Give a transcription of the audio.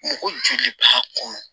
Mɔgɔ joli b'a kɔnɔ